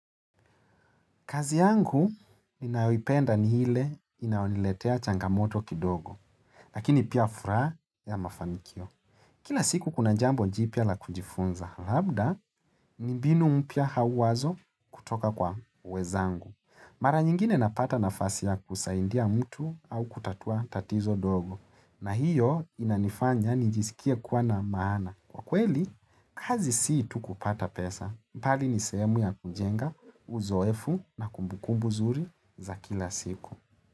Kazi yangu ninayoipenda ni ile inayoniletea changamoto kidogo, lakini pia furaha ya mafanikio. Kila siku kuna jambo jipya la kujifunza, labda ni mbinu mpya au wazo kutoka kwa wenzangu. Mara nyingine napata nafasi ya kusaidia mtu au kutatua tatizo dogo, na hiyo inanifanya nijisikie kuwa na maana. Kwa kweli, kazi sii tukupata pesa, bali ni sehemu ya kujenga, uzoefu na kumbukumbu nzuri za kila siku.